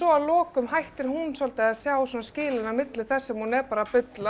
að lokum hættir hún svolítið að sjá skilin á milli þess sem hún er bara að bulla